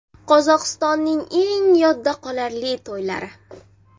Qozog‘istonning eng yodda qolarli to‘ylari .